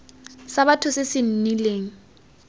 sa batho se se nnileng